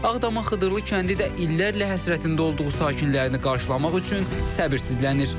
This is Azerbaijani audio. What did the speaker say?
Ağdamın Xıdırlı kəndi də illərlə həsrətində olduğu sakinərini qarşılamaq üçün səbirsizlənir.